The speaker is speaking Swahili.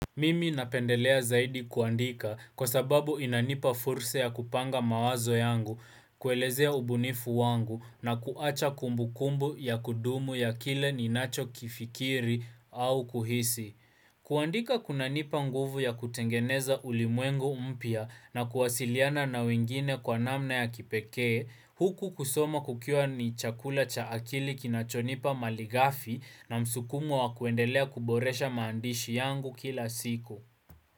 Mimi napendelea zaidi kuandika kwa sababu inanipa fursa ya kupanga mawazo yangu, kuelezea ubunifu wangu na kuacha kumbukumbu ya kudumu ya kile ninacho kifikiri au kuhisi. Kuandika kunanipa nguvu ya kutengeneza ulimwengu mpya na kuwasiliana na wengine kwa namna ya kipekee, huku kusoma kukiwa ni chakula cha akili kinachonipa malighafi na msukumo wa kuendelea kuboresha maandishi yangu kila siku.